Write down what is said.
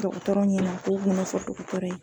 Dɔgɔtɔrɔ ɲɛna ko u k'u bɛna na fɔ dɔgɔtɔrɔ ye.